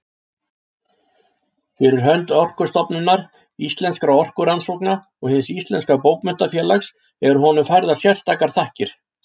Fyrir hönd Orkustofnunar, Íslenskra orkurannsókna og Hins íslenska bókmenntafélags eru honum færðar sérstakar þakkir.